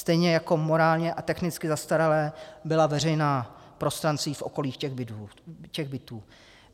Stejně jako morálně a technicky zastaralá byla veřejná prostranství a okolí těch bytů.